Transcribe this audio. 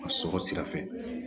A sɔrɔ sira fɛ